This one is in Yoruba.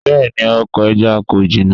Bẹẹni, oko ẹja ko jina